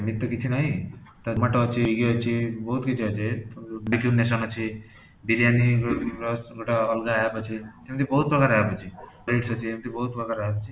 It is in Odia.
ସେମିତି ତ କଛି ନାହିଁ zomato ଅଛି, ୟେ ଅଛି ବହୁତ କିଛି ଅଛି ଅଛି biryani ର ଗୋଟେ ଅଲଗା APP ଅଛି, ଏମିତି ବହୁତ ପ୍ରକାର APP ଅଛି ଏଣିଟି ବହୁତ ପ୍ରକାର APP ଅଛି